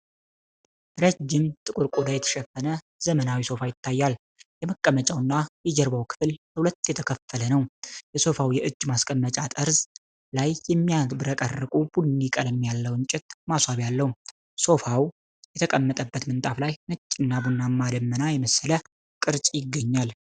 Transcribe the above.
ረዥም፣ ጥቁር ቆዳ የተሸፈነ ዘመናዊ ሶፋ ይታያል። የመቀመጫውና የጀርባው ክፍል ለሁለት የተከፈለ ነው። የሶፋው የእጅ ማስቀመጫ ጠርዝ ላይ የሚያብረቀርቅ ቡኒ ቀለም ያለው የእንጨት ማስዋቢያ አለው። ሶፋው የተቀመጠበት ምንጣፍ ላይ ነጭና ቡናማ ደመና የመሰለ ቅርጽ ይገኛል።